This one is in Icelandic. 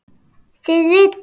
Þið vitið.